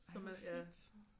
Så man ja